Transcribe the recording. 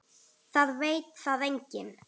Það veit það enginn.